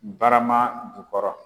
Barama jukɔrɔ.